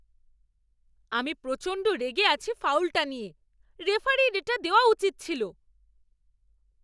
আমি প্রচণ্ড রেগে আছি ফাউলটা নিয়ে! রেফারির এটা দেওয়া উচিৎ ছিল।